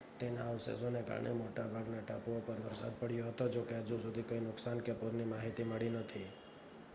તેના અવશેષોને કારણે મોટા ભાગના ટાપુઓ પર વરસાદ પડ્યો હતો જોકે હજુ સુધી કોઈ નુકસાન કે પૂરની માહિતી મળી નથી